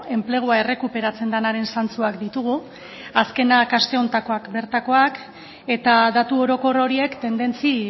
enplegua errekuperatzen denaren zantzuak ditugu azkenak aste honetakoak bertakoak eta datu orokor horiek tendentzia